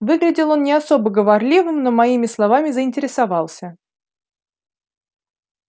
выглядел он не особо говорливым но моими словами заинтересовался